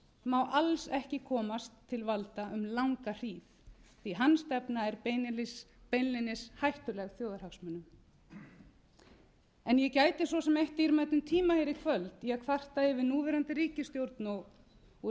má alls ekki komast til valda um langa hríð því hans stefna er beinlínis hættuleg þjóðarhagsmunum ég gæti svo sem eytt dýrmætum tíma hér í kvöld í að kvarta yfir núverandi ríkisstjórn og